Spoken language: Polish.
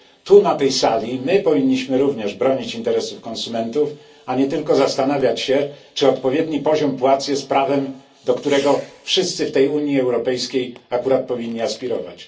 Tu, na tej sali, powinniśmy również bronić interesów konsumentów, a nie tylko zastanawiać się, czy odpowiedni poziom płac jest prawem, do którego wszyscy w Unii Europejskiej akurat powinni aspirować.